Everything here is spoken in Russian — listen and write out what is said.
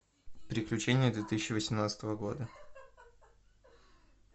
приключения две тысячи восемнадцатого года